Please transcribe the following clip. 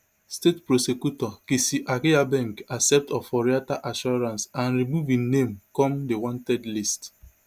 state prosecutor kessi agyabeng accept oforiatta assurance and remove im name come di wanted list